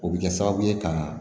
O bɛ kɛ sababu ye ka